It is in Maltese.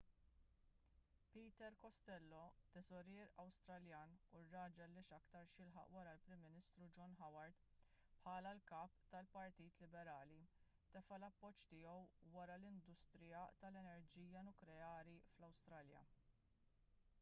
peter costello teżorier awstraljan u r-raġel li x'aktarx jilħaq wara l-prim ministru john howard bħala l-kap tal-partit liberali tefa' l-appoġġ tiegħu wara industrija tal-enerġija nukleari fl-awstralja